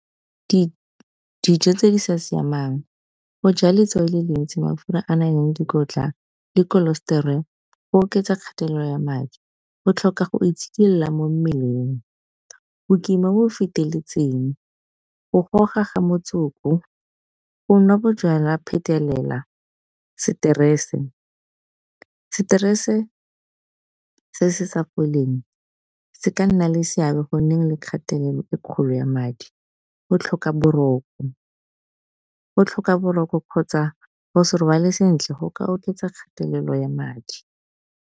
Dijo tse di sa siamang go ja letswai le le ntsi mafura a naleng dikotla le cholestrol go oketsa kgatelelo ya madi. Go tlhoka go itshidila mo mmeleng, bokima bo bo feteletseng go goga ga motsoko, go nwa bojalwa phetelela, seterese. Seterese se se sa foleng se ka nna le seabe gonneng le kgatelelo e kgolo ya madi, go tlhoka boroko kgotsa go se robale sentle go ka oketsa kgatelelo ya madi.